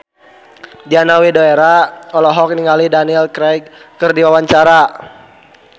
Diana Widoera olohok ningali Daniel Craig keur diwawancara